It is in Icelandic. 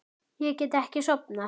Ég get ekki sofnað.